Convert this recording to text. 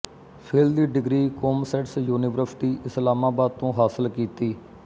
fill ਦੀ degree COMSATS university Islamabad ਤੋਂ ਹਾਸਿਲ ਕੀਤੀ